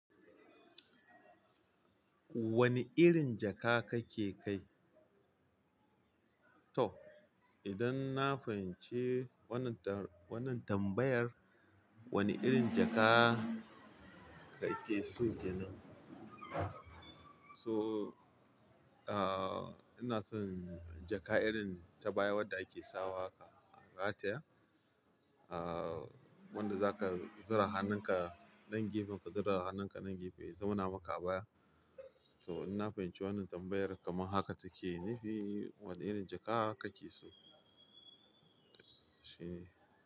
Wani irin jaka kake kai? To, idan na fahimci wannan tambayan, wane irin jaka kake so kenan? So, ah, ina son jaka irin ta baya wadda ake sawa a taya. Ah, wanda zaka zura hannunka dan gefen ka, zura hannun ka dan gefe ya zama naka baya. To, ina fahimci wannan tambayar, kamar haka take. Nafi wane irin jaka kake so? Shine.